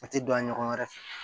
A tɛ don a ɲɔgɔn wɛrɛ fɛ